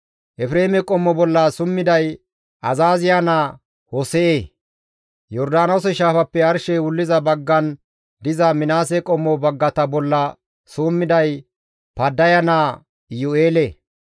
Efreeme qommo bolla summiday Azaaziya naa Hose7e. Yordaanoose shaafappe arshey wulliza baggan diza Minaase qommo baggata bolla summiday Paddaya naa Iyu7eele.